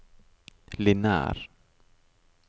lineær